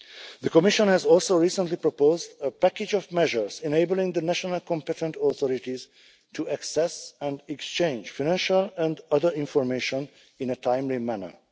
The Commission has also recently proposed a package of measures enabling the national competent authorities to access and exchange financial and other information in a timely manner.